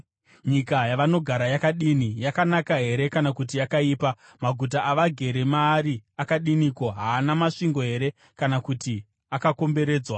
Nyika yavanogara yakadini? Yakanaka here kana kuti yakaipa? Maguta avagere maari akadiniko? Haana masvingo here kana kuti akakomberedzwa?